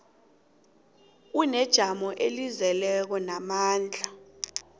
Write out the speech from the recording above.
unejamo elizeleko namandla